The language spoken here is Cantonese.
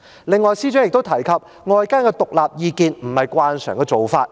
此外，司長亦提及，尋求外間的獨立意見並非慣常做法。